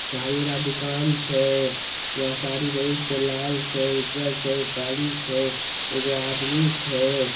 साड़ी वाला दुकान छे। वहाँ साड़ी बहुत से लाल छे उज्जर छे काली छे। एगो आदमी छे।